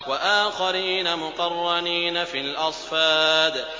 وَآخَرِينَ مُقَرَّنِينَ فِي الْأَصْفَادِ